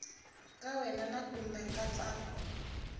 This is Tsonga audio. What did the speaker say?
ka wena na kumbe nkatsako